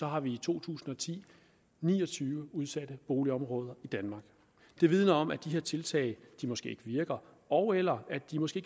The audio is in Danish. har vi i to tusind og ti ni og tyve udsatte boligområder i danmark det vidner om at de her tiltag måske ikke virker ogeller at de måske